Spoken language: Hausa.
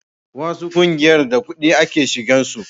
wasu ƙungiyar da kudi ake shigan su